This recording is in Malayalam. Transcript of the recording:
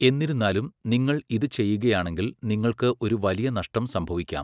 എന്നിരുന്നാലും, നിങ്ങൾ ഇത് ചെയ്യുകയാണെങ്കിൽ, നിങ്ങൾക്ക് ഒരു വലിയ നഷ്ടം സംഭവിക്കാം.